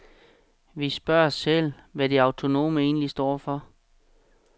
Vi spørger os selv, hvad de autonome egentlig står for.